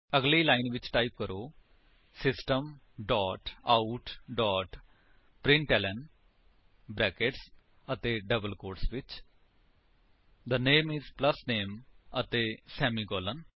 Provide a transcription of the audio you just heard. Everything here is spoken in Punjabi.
ਅਗਲੀ ਲਾਇਨ ਟਾਈਪ ਕਰੋ system dot out dot println brackets ਅਤੇ ਡਬਲ ਕੋਟਸ ਵਿੱਚ the name is plus name ਅਤੇ ਸੇਮੀਕਾਲਨ